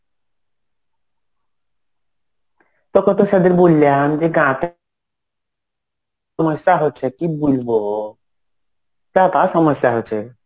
তোকে তো সেদিন বললাম যে সমস্যা হচ্ছে কি বলব. Tower এর সমস্যা হচ্ছে.